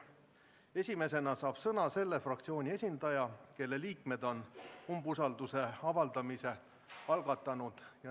Esimesena saab sõna selle fraktsiooni esindaja, kelle liikmed on umbusalduse avaldamise algatanud.